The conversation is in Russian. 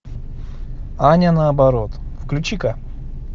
аня наоборот включи ка